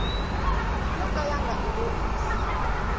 yo ka ya nga enerisi